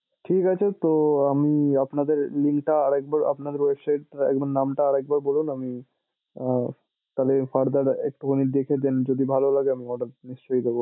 ঠিক আছে তো আমি আপনাদের টা আরেকবার আপনাদের website একবার নামটা আরেকবার বলুন আমি আহ তাহলে further এক্টুখানি দেখে then যদি ভালো লাগে আমি order নিশ্চয়ই করবো।